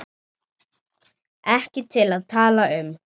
Ekki til að tala um.